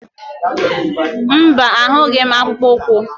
Mba, ahụghị m akpụkpọ ụkwụ.